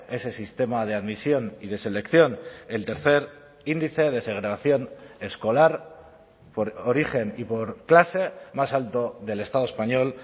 ese sistema de admisión y de selección el tercer índice de segregación escolar por origen y por clase más alto del estado español